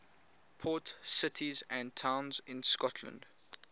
port cities and towns in scotland